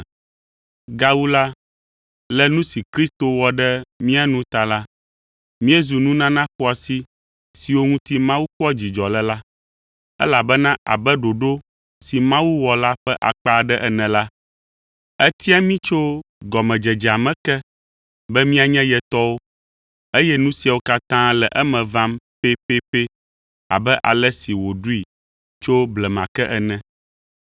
Gawu la, le nu si Kristo wɔ ɖe mía nu ta la, míezu nunana xɔasi siwo ŋuti Mawu kpɔa dzidzɔ le la, elabena abe ɖoɖo si Mawu wɔ la ƒe akpa aɖe ene la, etia mí tso gɔmedzedzea me ke be míanye ye tɔwo, eye nu siawo katã le eme vam pɛpɛpɛ abe ale si wòɖoe tso blema ke ene.